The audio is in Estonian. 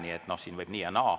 Nii et siin võib teha nii ja naa.